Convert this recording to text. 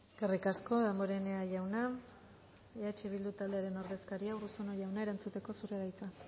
eskerrik asko damborenea jauna eh bildu taldearen ordezkaria urruzuno jauna erantzuteko zurea da hitza